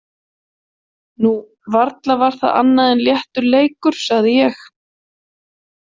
Nú, varla var það annað en léttur leikur, sagði ég.